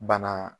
Bana